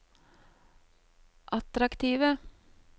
attraktive